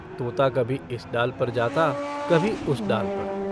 तोता कभी इस डाल पर जाता कभी उस डाल पर।